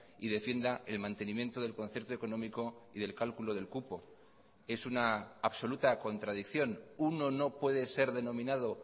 y defienda el mantenimiento del concierto económico y del cálculo del cupo es una absoluta contradicción uno no puede ser denominado